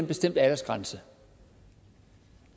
bestemt aldersgrænse